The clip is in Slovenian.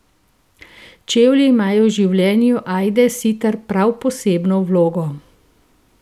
Čevlji imajo v življenju Ajde Sitar prav posebno vlogo.